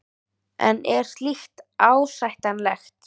En er slíkt ásættanlegt?